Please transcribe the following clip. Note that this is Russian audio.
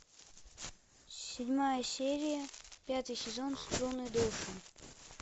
седьмая серия пятый сезон струны души